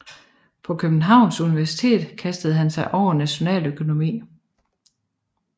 På Københavns Universitet kastede han sig over nationaløkonomi